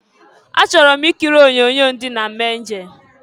Achọrọ m ikiri onyoonyo ndị Nam Anjel.